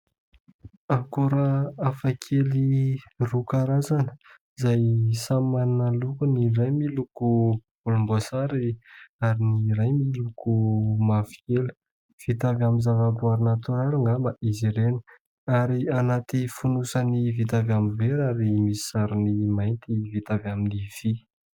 Akora hafa kely roa karazana izay samy manana ny lokony : ny iray miloko volomboasary ary ny iray miloko mavokely. Vita amin'ny zavaboaary natoraly angamba izy ireny ary anaty fonosany vita avy amin'ny vera ary misy sarony mainty vita avy amin'ny vy.